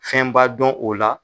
Fɛn b'a dɔn o la.